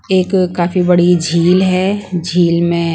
एक काफी बड़ी झील हैं झील में--